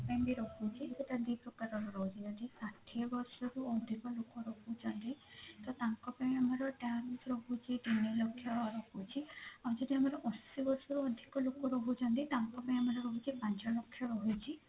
ତାଙ୍କ ପାଇଁ ବି ରହୁଛି ସେଟା ଦି ପ୍ରକାରର ରହୁଛି ଷାଠିଏ ବର୍ଷରୁ ଅଧିକ ଲୋକ ରହୁଛନ୍ତି ତ ତାଙ୍କ ପାଇଁ ଆମର tax ରହୁଛି ତିନି ଲକ୍ଷ ରହୁଛି ଆଉ ଯଦି ଆମର ଅଶି ବର୍ଷରୁ ଅଧିକ ଲୋକ ରହୁଛନ୍ତି ତାଙ୍କ ପାଇଁ ଆମର ହଉଛି ପାଞ୍ଚ ଲକ୍ଷ ରହୁଛି